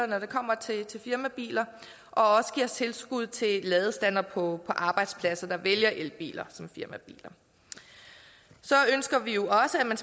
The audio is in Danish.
når det kommer til firmabiler og også giver tilskud til ladestandere på arbejdspladser der vælger elbiler som firmabiler så ønsker vi jo også at man